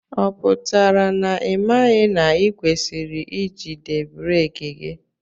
Ọ pụtara na imaghi na ikwesiri ijide breeki gị?